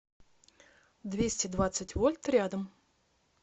двести двадцать вольт рядом